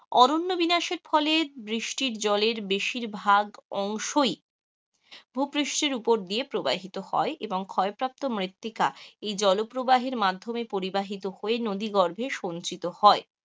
অরণ্য বিনাশের ফলে বৃষ্টির জলের বেশিরভাগ অংশই ভূপৃষ্ঠের উপর দিয়ে প্রবাহিত হয়, এবং ক্ষয় প্রাপ্ত মৃত্তিকা এই জল প্রবাহের মাধ্যমে প্রিবাহিত হয়ে নদী গর্ভে সঞ্চিত হয়,